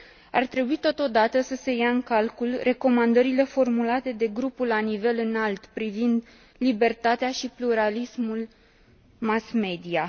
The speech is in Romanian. Ar trebui, totodată, să se ia în calcul recomandările formulate de Grupul la nivel înalt privind libertatea și pluralismul mass media.